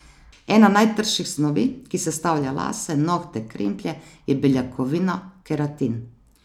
Ena najtrših snovi, ki sestavlja lase, nohte, kremplje, je beljakovina keratin.